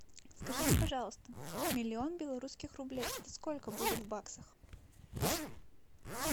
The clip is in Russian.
скажите пожалуйста миллион белорусских рублей это сколько будет в баксах